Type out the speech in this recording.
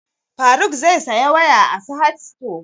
Faruk zai saya waya a sahad stores